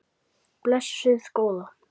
Blessuð góða.